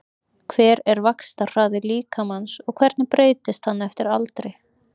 Hver er vaxtarhraði líkamans og hvernig breytist hann eftir aldri?